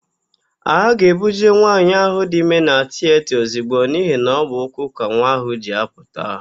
A ga-ebuje nwaanyị ahụ dị ime na tiyeta ozigbo n'ihi na ọ bụ ụkwụ ka nwa ya ji apụta.